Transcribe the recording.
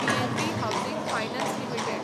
PNB housing finance limited